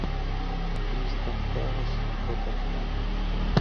кристал пэлас тоттенхэм